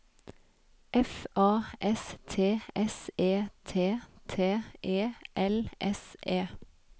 F A S T S E T T E L S E